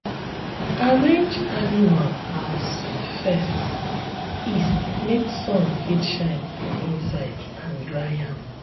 arrange animal house face east make sun fit shine for inside and dry am.